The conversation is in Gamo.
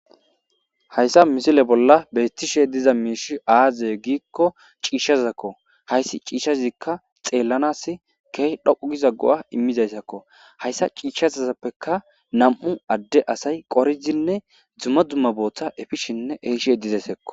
Hayssa misile bolla beettishe dizay aaze giza gidikko ciishshazakko. Hayssi ciishshazikka xeellanas keehi dhoqqu giza go'a immizayssako. Hayssa ciishshazappekka nami'u adde asay qoridinne dumma dumma boota efishinne ehishe dizaytakko.